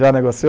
Já negociou?